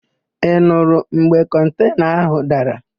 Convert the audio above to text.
Ị nurụ mgbe kọntena ahụ dara?